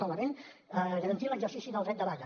solament garantir l’exercici del dret de vaga